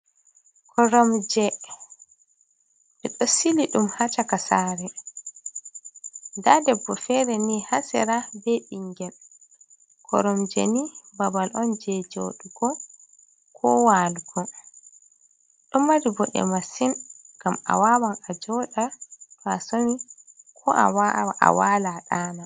Koromje ɓe doh sili dum ha caka sare, ɗa debɓo fere ni hasera ɓe bingel. Koromje ni babal on je jodugo ko walgo don mari bode masin gam a wawan a joda fasoni ko a wala a ɗana.